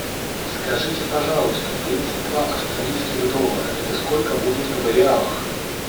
скажите пожалуйста тридцать два австралийских доллара это сколько будет в реалах